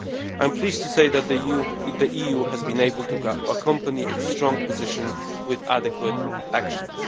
I am pleased to say that the EU has been able to accompany its strong position with adequate actions.